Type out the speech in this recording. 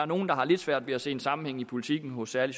nogen der har lidt svært ved at se en sammenhæng i politikken hos særlig